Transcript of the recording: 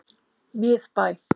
Miðbæ